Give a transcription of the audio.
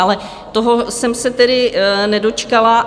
Ale toho jsem se tedy nedočkala.